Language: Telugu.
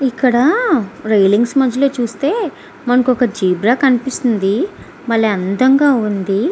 ఇక్కడ రీలింగ్స్ మధ్యలో చూస్తే మనకొక జిబ్ర కనిపిస్తుంది బలే అందంగా వుంది.